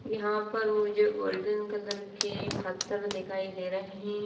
यहां पर मुझे गोल्डन कलर के फत्थर दिखाई दे रहे--